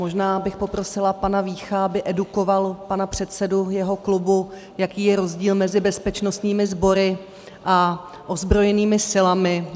Možná bych poprosila pana Vícha, aby edukoval pana předsedu svého klubu, jaký je rozdíl mezi bezpečnostními sbory a ozbrojenými silami.